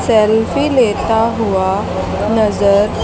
selfie लेता हुआ नजर--